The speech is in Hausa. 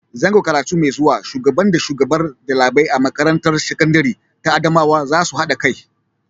Zango karatu mai zuwa Shubagan da shugabar ɗalibai a makarantar sakandire ta Adamawa za su haɗa kai.